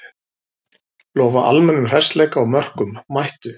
Lofa almennum hressleika og mörkum, mættu!